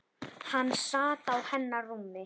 Hann sat á hennar rúmi!